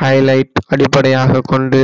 highlight அடிப்படையாகக் கொண்டு